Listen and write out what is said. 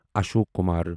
Ashok Kumar